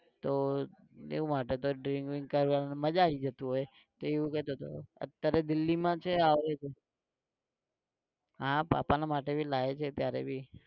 તો એવું માટે તો drink brink કરવાને મજા આઈ જતું હોય. એ એવું કહેતો હતો, અત્યારે દિલ્લીમાં છે આવે છે. હા બાપા ના માટે भी લાયો છે ત્યારે भी